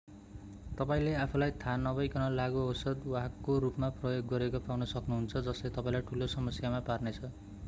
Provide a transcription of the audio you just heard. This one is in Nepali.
तपाईंले आफूलाई थाहा नभइकन लागू औषध वाहकको रूपमा प्रयोग गरिएको पाउन सक्नुहुन्छ जसले तपाईंलाई ठूलो समस्यामा पार्नेछ